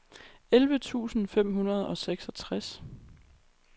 elleve tusind fem hundrede og seksogtres